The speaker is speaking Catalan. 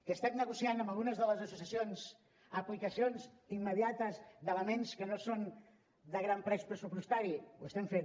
que estem negociant amb algunes de les associacions aplicacions immediates d’elements que no són de gran pes pressupostari ho estem fent